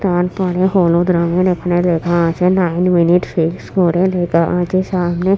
তারপরে হলুদ রঙে একটা লেখা আছে নাইন মিনিট সিক্স করে লেখা আছে সামনে ।